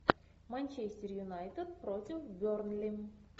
манчестер юнайтед против бернли